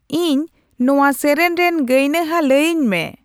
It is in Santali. ᱤᱧ ᱱᱚᱶᱟ ᱥᱮᱨᱮᱧ ᱨᱮᱱ ᱜᱟᱭᱱᱟᱦᱟ ᱞᱟᱹᱭᱟᱹᱧ ᱢᱮ